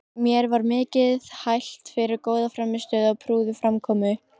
Mér var mikið hælt fyrir góða frammistöðu og prúða framkomu.